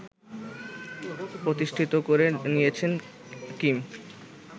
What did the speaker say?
প্রতিষ্ঠিত করে নিয়েছেন কিম